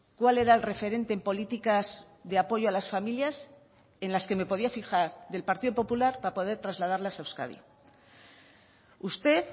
cuál era el referente en políticas de apoyo a las familias en las que me podía fijar del partido popular para poder trasladarlas a euskadi usted